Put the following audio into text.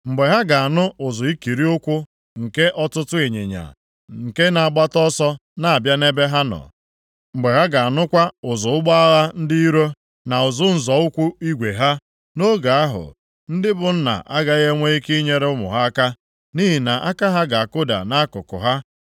Mgbe ha ga-anụ ụzụ ikiri ụkwụ nke ọtụtụ ịnyịnya, nke na-agbata ọsọ na-abịa nʼebe ha nọ, mgbe ha ga-anụkwa ụzụ ụgbọ agha ndị iro, na ụzụ nzọ ụkwụ igwe ha. Nʼoge ahụ, ndị bụ nna agaghị enwe ike nyere ụmụ ha aka, nʼihi na aka ha ga-akụda nʼakụkụ ha.